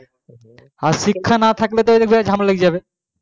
আর শিক্ষা না থাকলে মানে ঝামলা লেগে যাবে